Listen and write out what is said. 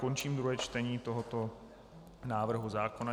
Končím druhé čtení tohoto návrhu zákona.